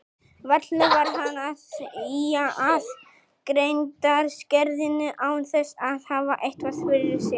Varla var hann að ýja að greindarskerðingu án þess að hafa eitthvað fyrir sér.